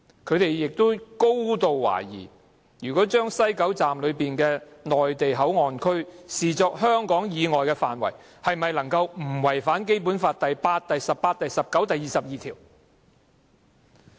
他們亦高度懷疑，如果把西九龍站內的內地口岸區視作香港以外的範圍，是否不違反《基本法》第八、十八、十九及二十二條？